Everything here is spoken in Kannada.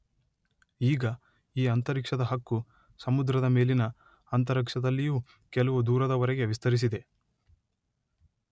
ಈಗ ಈ ಅಂತರಿಕ್ಷದ ಹಕ್ಕು ಸಮುದ್ರದ ಮೇಲಿನ ಅಂತರಿಕ್ಷದಲ್ಲಿಯೂ ಕೆಲವು ದೂರದವರೆಗೆ ವಿಸ್ತರಿಸಿದೆ.